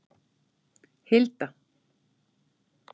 Hilda